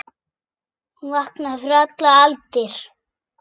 Hún vaknaði fyrir allar aldir.